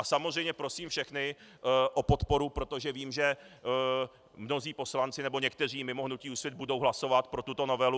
A samozřejmě prosím všechny o podporu, protože vím, že mnozí poslanci, nebo někteří mimo hnutí Úsvit, budou hlasovat pro tuto novelu.